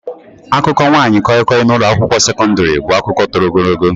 Akụkọ nwaanyị koi-koi na ụlọ akwụkwọ sekọndrị bụ akụkọ toro ogologo.